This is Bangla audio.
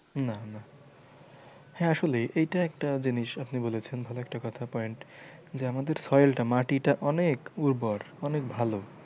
না না হ্যাঁ আসলেই এইটা একটা জিনিস আপনি বলেছেন ভালো একটা কথা point যে আমাদের soil টা মাটিটা অনেক উর্বর অনেক ভালো।